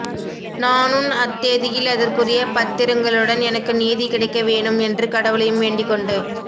நானுன் அத்தேதியில் அதற்குரிய பத்திரங்களுடன் எனக்கு நீதி கிடக்கவேணும் என்று கடவுளையும் வேண்டிக்கொண்டு